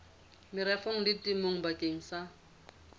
merafong le temong bakeng sa